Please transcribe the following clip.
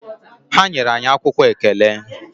Ha nyere anyị akwụkwọ ekele.